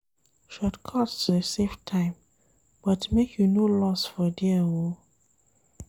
Shotcuts dey save time but make you no loss for there o.